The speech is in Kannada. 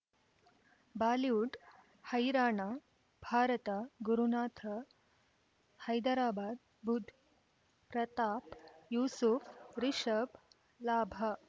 ಬಾಲಿವುಡ್ ಹೈರಾಣ ಭಾರತ ಗುರುನಾಥ ಹೈದರಾಬಾದ್ ಬುಧ್ ಪ್ರತಾಪ್ ಯೂಸುಫ್ ರಿಷಬ್ ಲಾಭ